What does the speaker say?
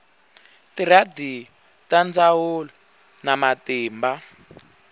tiradiyo ta ndzhawu na matimba